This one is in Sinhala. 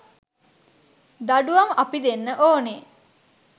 දඬුවම් අපි දෙන්න ඕනෙ